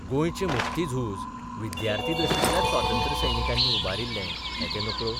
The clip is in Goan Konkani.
गोंयचें मुक्ती झूज विद्यार्थी दशेंतल्याच स्वातंत्र्यसैनिकांनी उबारिल्ले हें ते नकळो?